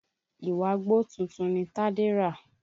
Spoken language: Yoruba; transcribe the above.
Ìwágbó tuntun ni Tádé rà